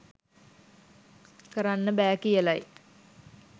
කරන්න බෑ කියලයි